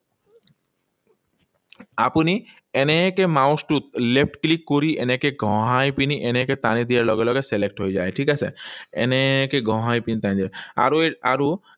আপুনি এনেকৈ mouse টোত left click কৰি এনেকৈ ঘহাই পিনি এনেকৈ টানি দিয়াৰ লগে লগে select হৈ যায়, ঠিক আছে? এনেকৈ ঘঁহাই পিনি টানি দিব লাগে। আৰু